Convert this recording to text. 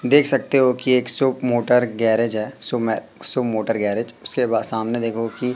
देख सकते हो कि एक शॉप मोटर गैरेज है शुभ मोटर गैरेज उसके बाद सामने देखोगे कि--